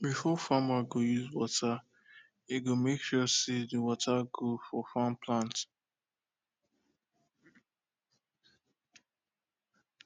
before farmer go use water e go make sure say de water good for farm plant